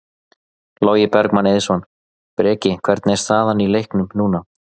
Logi Bergmann Eiðsson: Breki, hvernig er staðan í leiknum núna?